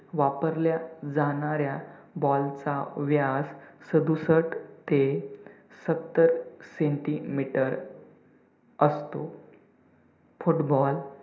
वापरल्या जाणाऱ्या ball चा व्यास सदुसट ते सत्तर centimeter असतो. football